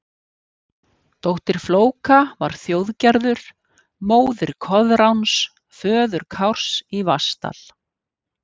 Dóttir Flóka var Þjóðgerður, móðir Koðráns, föður Kárs í Vatnsdal.